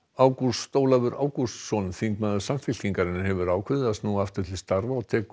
Ágúst Ólafur Ágústsson þingmaður Samfylkingarinnar hefur ákveðið að snúa aftur til þingstarfa og tekur